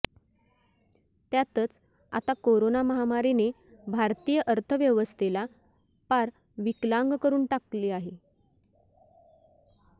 त्यातच आता कोरोना महामारिने भारतीय अर्थव्यवस्थेला पार विकलांग करून टाकले आहे